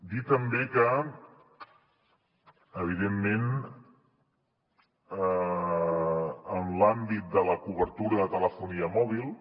dir també que evidentment en l’àmbit de la cobertura de telefonia mòbil